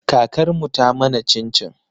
Kakar mu ta mana cin-cin.